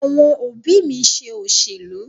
Àwọn òbí mi ń ṣe òṣèlú.